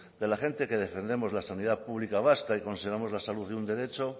de la gente que defendemos la sanidad pública vasca y consideramos la salud un derecho